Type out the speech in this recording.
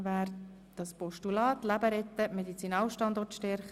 Wer das Postulat «Leben retten – Medizinalstandort stärken: